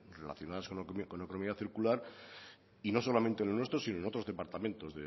relacionadas con la economía circular y no solamente en lo nuestro sino en otros departamentos